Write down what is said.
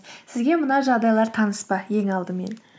сізге мына жағдайлар таныс па ең алдымен